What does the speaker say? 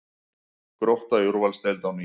Grótta í úrvalsdeild á ný